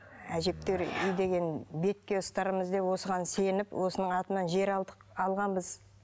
әжептеуір бетке ұстарымыз деп осыған сеніп осының атынан жер алдық алғанбыз